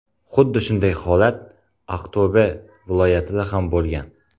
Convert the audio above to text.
Xuddi shunday holat Aqto‘be viloyatida ham bo‘lgan.